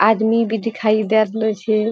आदमी भी दिखाई दे रहलो छे।